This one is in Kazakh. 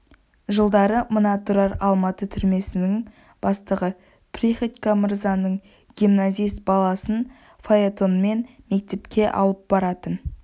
жылдары мына тұрар алматы түрмесінің бастығы приходько мырзаның гимназист баласын фаэтонмен мектепке алып баратын